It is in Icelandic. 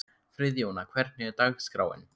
Friðjóna, hvernig er dagskráin?